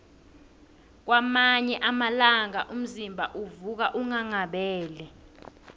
kwamanye amalanga umzimba uvuka unghanghabele